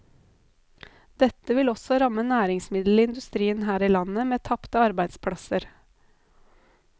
Dette vil også ramme næringsmiddelindustrien her i landet med tapte arbeidsplasser.